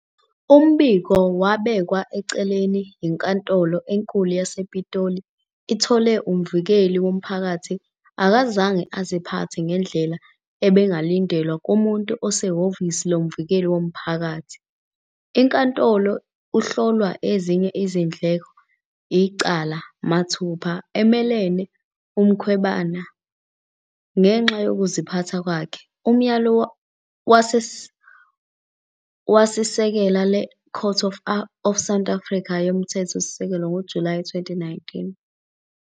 Umbiko wabekwa eceleni yiNkantolo eNkulu yasePitoli, ithole ukuthi "Umvikeli womphakathi akazange aziphathe ngendlela ebingalindelwa kumuntu osehhovisi lomvikeli womphakathi."Inkantolo uhlolwa ezinye izindleko icala "mathupha" emelene Mkhwebane ngenxa yokuziphatha kwakhe, umyalo wasisekela le Court of South Africa yoMthethosisekelo ngoJulayi 2019.